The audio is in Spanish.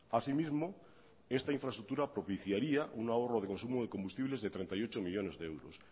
asimismo esta infraestructura propiciaría un ahorro de consumo de combustibles de treinta y ocho millónes de euros